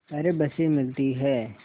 पर बसें मिलती हैं